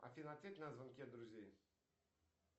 афина ответь на звонки от друзей